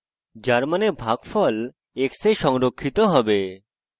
যার means ভাগফল x এ সংরক্ষিত হবে